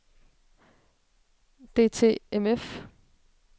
DTMF